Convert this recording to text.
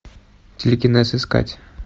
телекинез искать